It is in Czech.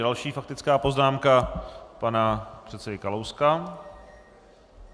Další faktická poznámka pana předsedy Kalouska.